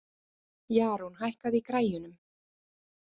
Jarún, hækkaðu í græjunum.